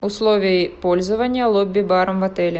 условия пользования лобби баром в отеле